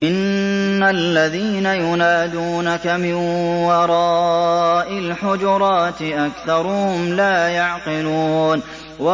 إِنَّ الَّذِينَ يُنَادُونَكَ مِن وَرَاءِ الْحُجُرَاتِ أَكْثَرُهُمْ لَا يَعْقِلُونَ